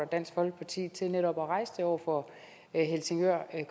dansk folkeparti til netop at rejse det over for helsingør